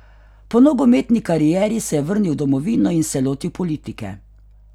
Po nogometni karieri se je vrnil v domovino in se lotil politike.